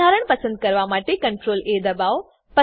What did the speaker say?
બંધારણ પસંદ કરવા માટે CTRLA દબાવો